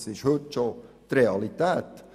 Das ist heute bereits Realität;